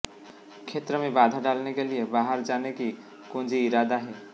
क्षेत्र में बाधा डालने के लिए बाहर जाने की कुंजी इरादा है